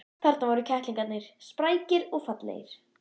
Þarna voru kettlingarnir, sprækir og fallegir.